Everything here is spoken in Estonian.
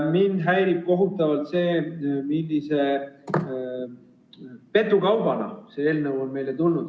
Mind häirib kohutavalt see, millise petukaubana see eelnõu on meile tulnud.